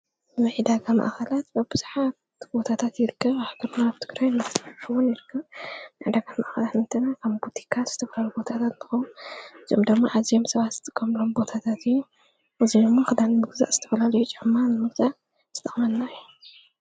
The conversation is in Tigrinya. መዒዳ ኻ መኣኸላት በብ ብሳሓት ጐታታት ይርክ ኣሕክርና ኣብቲግረይ እምበሕውን ይርክ ንዕዳ ካ መኣኸላት እንትና ካም ብቲካት ዝትፈለሉ ቦታታት ምኸም ዞምደሙ ዓዚም ሰባ ዝትገምሎም ቦታታትእ እዙሞ ኽዳን ብግዛ ዝተፈላልዩ ጨዕማን ሙተ ዝተቕመና ዩ::